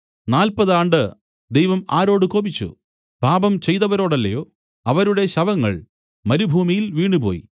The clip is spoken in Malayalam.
നാല്പതു ആണ്ട് ദൈവം ആരോട് കോപിച്ചു പാപം ചെയ്തവരോടല്ലയോ അവരുടെ ശവങ്ങൾ മരുഭൂമിയിൽ വീണുപോയി